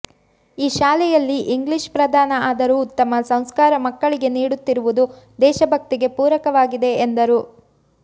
ಈ ಶಾಲೆಯಲ್ಲಿ ಇಂಗ್ಲೀಷ್ ಪ್ರಧಾನ ಆದರೂ ಉತ್ತಮ ಸಂಸ್ಕಾರ ಮಕ್ಕಳಿಗೆ ನೀಡುತ್ತಿರುವುದು ದೇಶಭಕ್ತಿಗೆ ಪೂರಕವಾಗಿದೆ ಎಂದರು